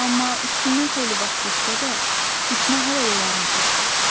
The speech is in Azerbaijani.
Amma üstündən xeyli vaxt keçsə də, tikmə hələ də yarımçıqdır.